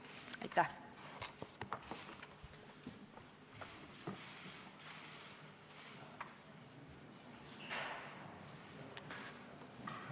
Aitäh!